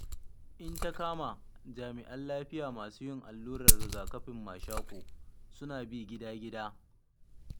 In ta kama Jami'an Lafiya masu yin allurar riga-kafin mashaƙo suna bi gida gida.